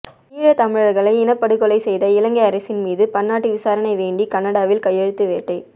ஈழத்தமிழர்களை இனப்படுகொலை செய்த இலங்கை அரசின் மீது பன்னாட்டு விசாரணை வேண்டி கனடாவில் கையெழுத்து வேட்டை